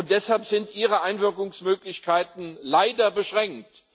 Deshalb sind ihre Einwirkungsmöglichkeiten leider beschränkt.